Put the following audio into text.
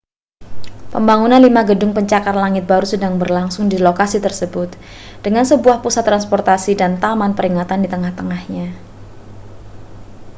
pembangunan lima gedung pencakar langit baru sedang berlangsung di lokasi tersebut dengan sebuah pusat transportasi dan taman peringatan di tengah-tengahnya